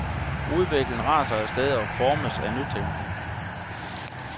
Udviklingen raser af sted og formes af nytænkning.